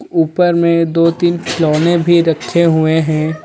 ऊपर में दो-तीन खिलौने भी रखे हुए हैं.